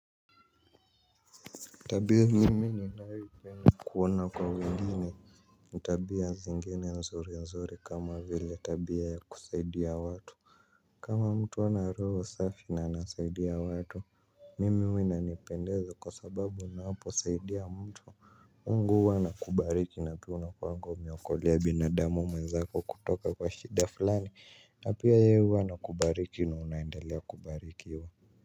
Tabia mimi ninayoipenda kuona kwa wengine ni tabia zingine nzuri nzuri kama vile tabia ya kusaidia watu kama mtu hana roho safi na anasaidia watu. Mimi huwa inanipendeza kwa sababu unaposaidia mtu mungu huwa ana kubariki na pia una kuanga umeokolea binadamu mwenzako kutoka kwa shida fulani na pia yeye huwa ana kubariki na unaendelea kubarikiwa.